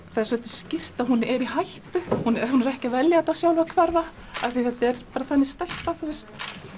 það svolítið skýrt að hún er í hættu hún er ekki að velja þetta sjálf að hverfa af því að þetta er bara þannig stelpa þú veist